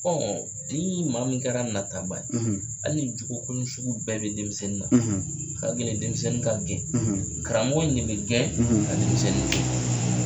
ni mɔgɔ min kɛra nataba ye hali ni jogo kolon sugu bɛɛ bɛ denmisɛnnin na ka gɛlɛn denmisɛnnin ka gɛn karamɔgɔ in de bɛ gɛn ka denmisɛnninni to ye.